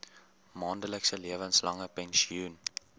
maandelikse lewenslange pensioen